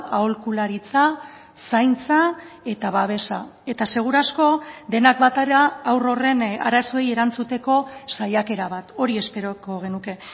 aholkularitza zaintza eta babesa eta seguru asko denak batera haur horren arazoei erantzuteko saiakera bat hori esperoko genuke